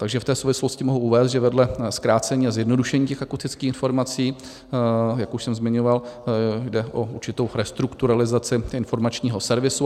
Takže v té souvislosti mohu uvést, že vedle zkrácení a zjednodušení těch akustických informací, jak už jsem zmiňoval, jde o určitou restrukturalizaci informačního servisu.